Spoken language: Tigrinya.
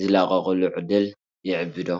ዝላቐቑሉ ዕድል የዕብይ ዶ?